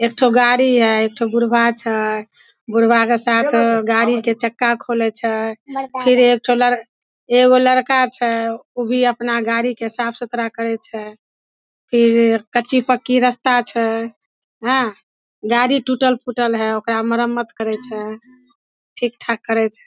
एक ठो गाड़ी हई एक ठो बुढ़बा छै बुढबा के साथ गाड़ी के चक्का खोले छै फिर एक ठो ल एगो लड़का छै ऊ भी अपना गाड़ी के साफ-सुथरा करे छै फिर कच्ची-पक्की रस्ता छै हैन गाड़ी टूटल-फुटल हई ओकरा मरम्मत करे छै ठीक-ठाक करे छै।